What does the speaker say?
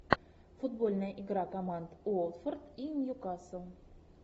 футбольная игра команд уотфорд и ньюкасл